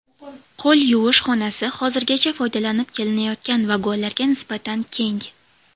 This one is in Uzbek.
Qo‘l yuvish xonasi hozirgacha foydalanib kelinayotgan vagonlarga nisbatan keng.